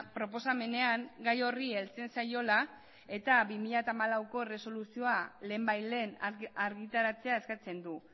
proposamenean gai horri heltzen zaiola eta bi mila hamalaueko erresoluzioa lehenbailehen argitaratzea eskatzen du